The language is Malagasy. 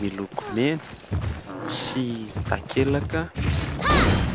miloko mena sy takelaka miloko mavo.